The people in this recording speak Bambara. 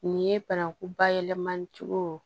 Nin ye banaku bayɛlɛmacogo